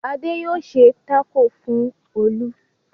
Adé yóò ṣe tákò fún Olú.